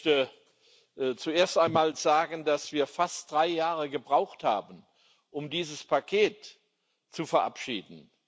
Ich möchte zuerst einmal sagen, dass wir fast drei Jahre gebraucht haben, um dieses Paket zu verabschieden.